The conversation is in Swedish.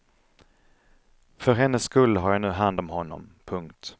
För hennes skull har jag nu hand om honom. punkt